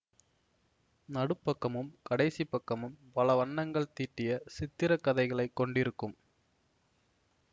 நடுப்பக்கமும் கடைசி பக்கமும் பலவண்ணங்கள் தீட்டிய சித்திர கதைகளைக் கொண்டிருக்கும்